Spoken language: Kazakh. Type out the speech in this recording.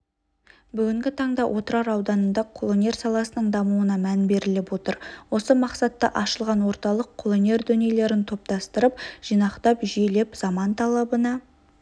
бүгінгі таңда отырар ауданында қолөнер саласының дамуына мән беріліп отыр осы мақсатта ашылған орталық қолөнер дүниелерін топтастырып жинақтап жүйелеп заман талабына